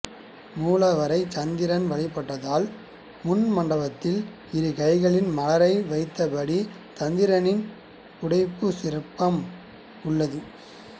மூலவரை சந்திரன் வழிபட்டதால் முன் மண்டபத்தில் இரு கைகளில் மலரை வைத்தபடி சந்திரனின் புடைப்புச் சிற்பம் உள்ளது